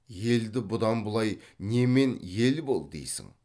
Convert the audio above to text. елді бұдан бұлай немен ел бол дейсің